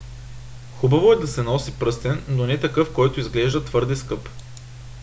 хубаво е да се носи пръстен но не такъв който изглежда твърде скъп